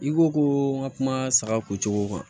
I ko ko n ka kuma saga ko cogo kan